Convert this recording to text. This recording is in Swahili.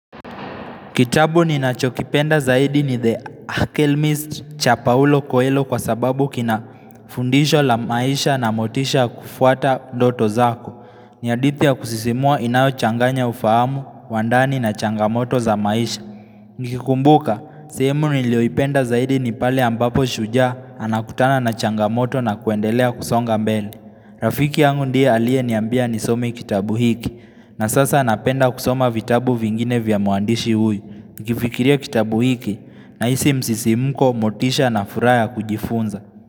Kitabu ninachokipenda zaidi ni The Alchemist cha paulo Koelo kwa sababu kina fundisho la maisha na motisha ya kufuata ndoto zako. Ni hadithi ya kusisimua inayochanganya ufahamu, wa ndani na changamoto za maisha. Nikikumbuka, sehemu niliyoipenda zaidi ni pale ambapo shujaa anakutana na changamoto na kuendelea kusonga mbele. Rafiki yangu ndiye aliye niambia nisome kitabu hiki. Na sasa napenda kusoma vitabu vingine vya muandishi huyu. Nikifikiria kitabu hiki nahisi msisimko motisha na furaha kujifunza.